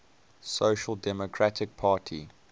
social democratic party